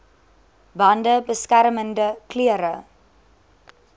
bande beskermende klere